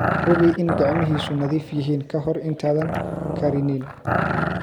Hubi in gacmihiisu nadiif yihiin ka hor intaadan karinin.